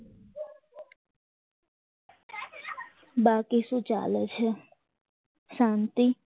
બાકી શું ચાલે છે શાંતિ